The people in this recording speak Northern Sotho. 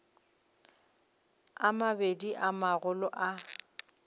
a mabedi a magolo a